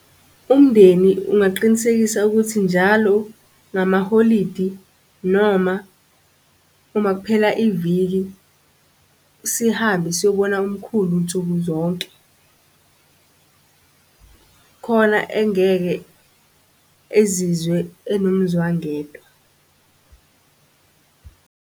Umndeni ungaqinisekisa ukuthi njalo ngamaholidi noma uma kuphela iviki, sihambe siyobona umkhulu nsuku zonke khona engeke ezizwe enomzwangedwa .